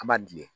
An b'a dilen